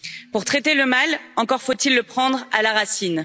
Pour traiter le mal, encore faut il le prendre à la racine.